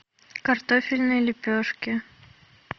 картофельные лепешки